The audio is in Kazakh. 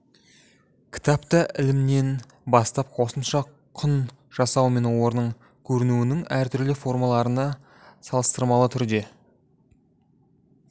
кітапта ілімінен бастап қосымша құн жасау мен оның көрінуінің әртүрлі формаларына салыстырмалы түрде